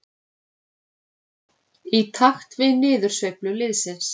Í takt við niðursveiflu liðsins.